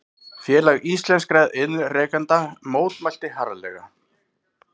Félag íslenskra iðnrekenda mótmælti harðlega